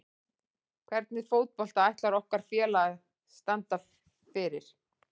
Hvernig fótbolta ætlar okkar félag að standa fyrir?